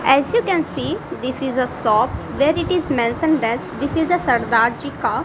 as you can see this is a shop where it is mentioned as this is a sardar ji --